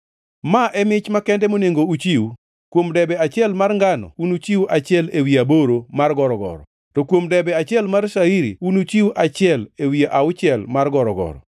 “ ‘Ma e mich makende monego uchiw: Kuom debe achiel mar ngano unuchiw achiel ewi aboro mar gorogoro, to kuom debe achiel mar shairi unuchiw achiel ewi auchiel mar gorogoro.